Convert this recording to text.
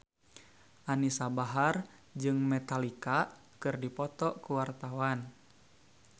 Anisa Bahar jeung Metallica keur dipoto ku wartawan